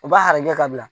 U b'a harakɛ ka bila